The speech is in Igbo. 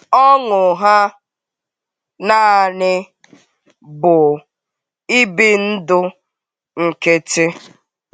Ọṅụ ha nanị bụ ibi ndụ nkịtị.